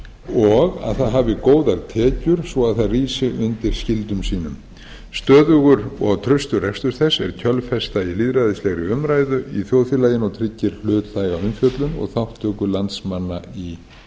og að það hafi góðar tekjur svo að það rísi undir skyldum sínum stöðugur og traustur rekstur þess er kjölfesta í lýðræðislegri umræðu í þjóðfélaginu og tryggir hlutlæga umfjöllun og þátttöku landsmanna í